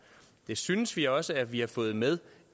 det synes vi også at vi har fået med